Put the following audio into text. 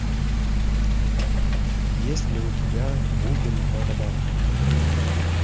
есть ли у тебя бубен барабан